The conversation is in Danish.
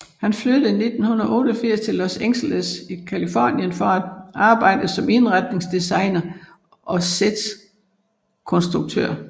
Han flyttede i 1988 til Los Angeles i Californien for at arbejde som indretningsdesigner og sætkonstruktør